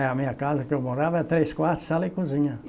A minha casa que eu morava era três quartos, sala e cozinha.